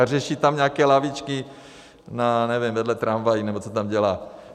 A řeší tam nějaké lavičky, já nevím, vedle tramvají, nebo co tam dělá.